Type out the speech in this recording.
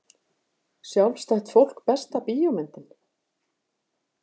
Sjálfstætt fólk Besta bíómyndin?